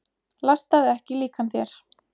Lastaðu ekki líkan þér.